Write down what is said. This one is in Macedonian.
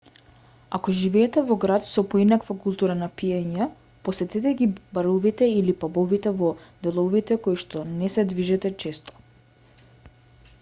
ако живеете во град со поинаква култура на пиење посетете ги баровите или пабовите во деловите во коишто не се движите често